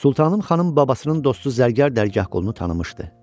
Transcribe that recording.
Sultanım xanım babasının dostu zərgər Dərgah qulunu tanımışdı.